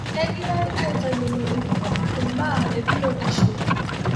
Kegirai aitayiolo iltung'anak imbaa ebiyotishu